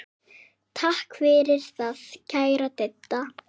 Takk fyrir það, kæra Didda.